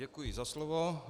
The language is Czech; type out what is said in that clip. Děkuji za slovo.